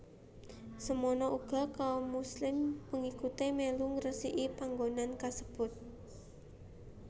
Semono uga kaum Muslim pengikuté mèlu ngresiki panggonan kasebut